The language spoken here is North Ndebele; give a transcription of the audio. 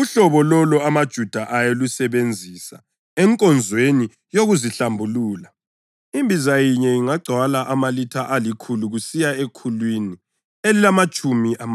uhlobo lolo amaJuda ayelusebenzisa enkonzweni yokuzihlambulula, imbiza yinye ingagcwala amalitha alikhulu kusiya ekhulwini elilamatshumi amahlanu.